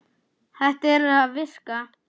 Þetta er að virka.